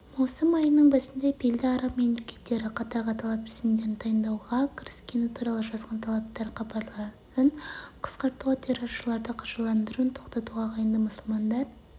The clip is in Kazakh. маусым айының басында белді араб мемлекеттері қатарға талап тізімдерін дайындауға кіріскені туралы жазған талаптар хабарларын қысқартуға терроршыларды қаржыландыруын тоқтатуға ағайынды мұсылмандар